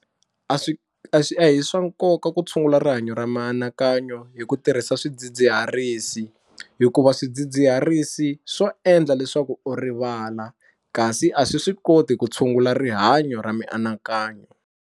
A swi a swi a hi swa nkoka ku tshungula rihanyo ra mianakanyo hi ku tirhisa swidzidziharisi hikuva swidzidziharisi swo endla leswaku u rivala kasi a swi swi koti ku tshungula rihanyo ra mianakanyo.